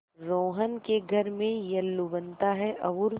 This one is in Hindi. रोहन के घर में येल्लू बनता है और